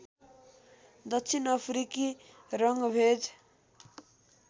दक्षिण अफ्रिकी रङ्गभेद